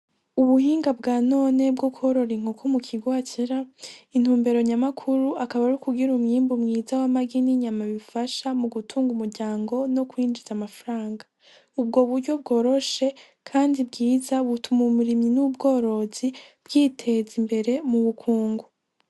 Ubuhinga bwa none bwo kworora inkoko mu kigwacera intumbero nyamakuru akaba ari ukugira umwimbu mwiza w'amagain'inyama bifasha mu gutunga umuryango no kwinjiza amafranga ubwo buryo bworoshe, kandi bwiza butuma mumurimi n'ubworozi bwiteza imbere mu bukungu.